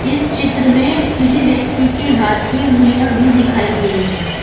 इस चित्र में किसी व्यक्ति के हाथ की उंगलियां भी दिखाई दे रही है।